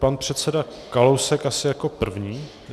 Pan předseda Kalousek asi jako první.